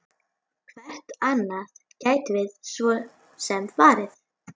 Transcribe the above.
Hvert annað gætum við svo sem farið?